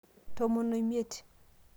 tomon omiet